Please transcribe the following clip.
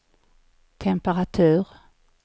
temperatur